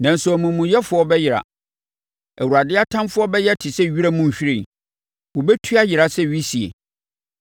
Nanso, amumuyɛfoɔ bɛyera. Awurade atamfoɔ bɛyɛ te sɛ wiram nhwiren; wɔbɛtu ayera sɛ wisie.